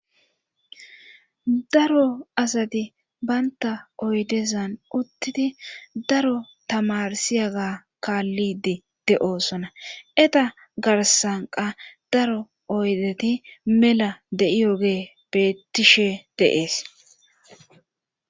daro asati baynta oydezan uttidi daro tamarsiyaga kaallidi de7oosona eta garsanqa daro oydeti mela de7iyoge beettishe deees